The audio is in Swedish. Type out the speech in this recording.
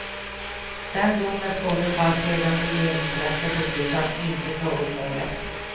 Den domen står nu fast sedan regeringsrätten beslutat att inte ta upp målet.